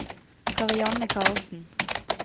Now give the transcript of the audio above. Karianne Carlsen